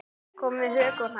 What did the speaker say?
Koma við höku og hnakka.